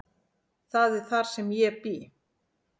Það er þar sem ég bý.